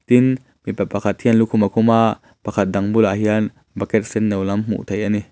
tin mipa pakhat hian lukhum a khum a pakhat dang bulah hian bucket sen no lam hmuh theih a ni.